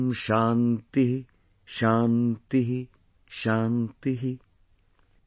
Om ShantihShantihShantih॥